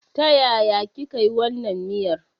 Ta yaya kika yi wannan miyar?